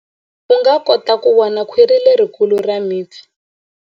U nga kota ku vona khwiri lerikulu ra mipfi.